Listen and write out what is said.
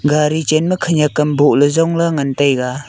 gari chen ma khanyak kam bohle zongla ngantaiga.